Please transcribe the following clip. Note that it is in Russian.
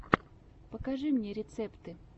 покажи мне рецепты